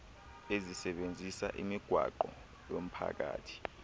ezisebenzisa imigwaqo yomphakathi